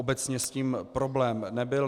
Obecně s tím problém nebyl.